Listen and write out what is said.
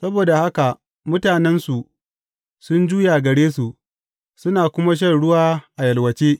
Saboda haka mutanensu sun juya gare su suna kuma shan ruwa a yalwace.